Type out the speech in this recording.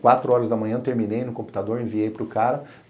Quatro horas da manhã, terminei no computador, enviei para o cara.